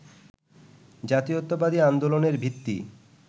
জাতীয়তাবাদী আন্দোলনের ভিত্তি